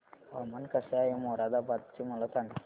हवामान कसे आहे मोरादाबाद चे मला सांगा